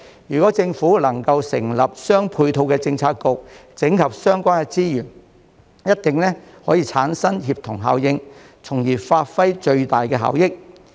如果政府能夠成立相應政策局整合相關資源，一定能產生協同效應，從而發揮最大效益。